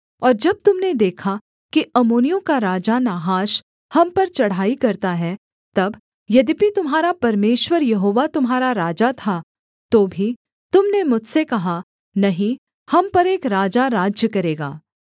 और जब तुम ने देखा कि अम्मोनियों का राजा नाहाश हम पर चढ़ाई करता है तब यद्यपि तुम्हारा परमेश्वर यहोवा तुम्हारा राजा था तो भी तुम ने मुझसे कहा नहीं हम पर एक राजा राज्य करेगा